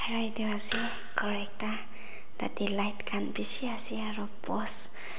ase ghor ekta tatae light khan beshi ase aro post --